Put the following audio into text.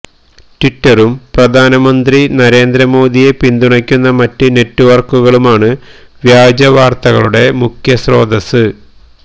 ട്വിറ്ററും പ്രധാനമന്ത്രി നരേന്ദ്ര മോഡിയെ പിന്തുണക്കുന്ന മറ്റു നെറ്റ്വര്ക്കുകളുമാണ് വ്യാജ വാര്ത്തകളുടെ മുഖ്യസ്രോതസ്സ്